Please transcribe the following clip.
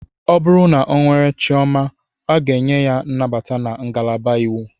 O bụrụ na ọ nwere chioma, a ga-enye ya nnabata na ngalaba iwu.